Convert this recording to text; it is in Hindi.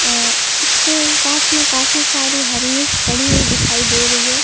अ उसके पास में काफी सारी हरी मिर्च पड़ी हुई दिखाई दे रही है।